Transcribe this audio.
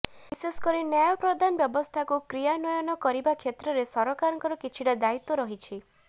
ବିଶେଷକରି ନ୍ୟାୟ ପ୍ରଦାନ ବ୍ୟବସ୍ଥାକୁ କ୍ରିୟାନ୍ୱୟନ କରିବା କ୍ଷେତ୍ରରେ ସରକାରଙ୍କର କିଛିଟା ଦାୟିତ୍ୱ ରହିଛି